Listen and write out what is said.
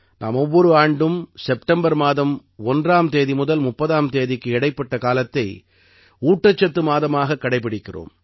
நாம் ஒவ்வொரு ஆண்டும் செப்டம்பர் மாதம் 1ஆம் தேதி முதல் 30ஆம் தேதிக்கு இடைப்பட்ட காலத்தை ஊட்டச்சத்து மாதமாகக் கடைப்பிடிக்கிறோம்